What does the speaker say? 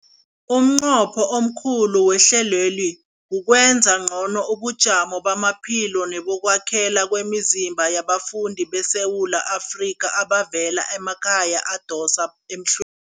Umnqopho omkhulu wehlelweli kukwenza ngcono ubujamo bamaphilo nebokwakhela kwemizimba yabafundi beSewula Afrika abavela emakhaya adosa emhlw